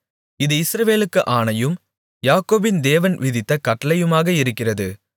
இது இஸ்ரவேலுக்குப் ஆணையும் யாக்கோபின் தேவன் விதித்த கட்டளையுமாக இருக்கிறது